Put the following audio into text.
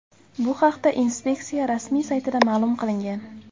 Bu haqda inspeksiya rasmiy saytida ma’lum qilingan .